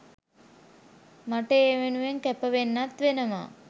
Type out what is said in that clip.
මට ඒ වෙනුවෙන් කැප වෙන්නත් වෙනවා.